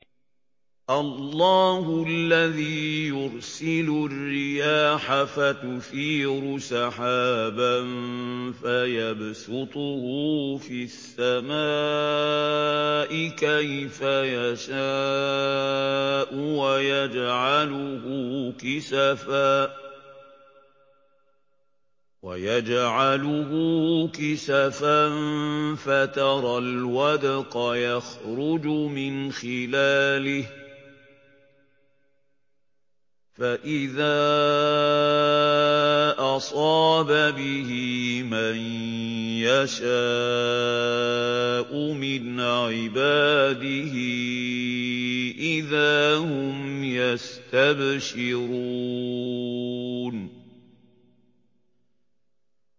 اللَّهُ الَّذِي يُرْسِلُ الرِّيَاحَ فَتُثِيرُ سَحَابًا فَيَبْسُطُهُ فِي السَّمَاءِ كَيْفَ يَشَاءُ وَيَجْعَلُهُ كِسَفًا فَتَرَى الْوَدْقَ يَخْرُجُ مِنْ خِلَالِهِ ۖ فَإِذَا أَصَابَ بِهِ مَن يَشَاءُ مِنْ عِبَادِهِ إِذَا هُمْ يَسْتَبْشِرُونَ